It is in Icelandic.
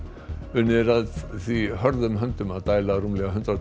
unnið er að því hörðum höndum að dæla rúmlega hundrað